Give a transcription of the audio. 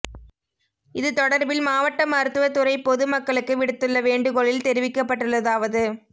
இது தொடர்பில் மாவட்ட மருத்துவ துறை பொது மக்களுக்கு விடுத்துள்ள வேண்டுகோளில் தெரிவிக்கப்பட்டுள்ளதாவது